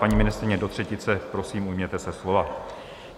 Paní ministryně, do třetice prosím, ujměte se slova.